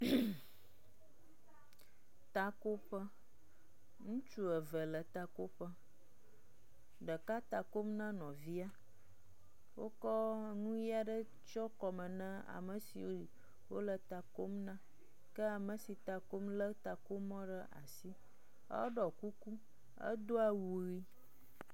HmƐ Teve le takoƒe. Ɖeka ta kom na nɔvia. Wokɔ nu ʋi aɖe tsɔ kɔme na ame siwo wo le ta kom nake ame si ta kom le takomɔ ɖe asi. Eɖɔ kuku edo awu ʋi.